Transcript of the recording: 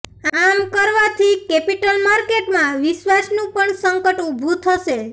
આમ કરવાથી કેપિટલ માર્કેટમાં વિશ્વાસનું પણ સંકટ ઉભું થશે